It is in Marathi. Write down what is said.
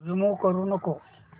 रिमूव्ह करू नको